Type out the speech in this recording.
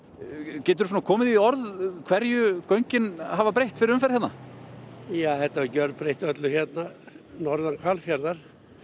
geturðu komið því í orð hverju göngin hafa breytt fyrir umferðina ja þetta gjörbreytti öllu hérna norðan Hvalfjarðar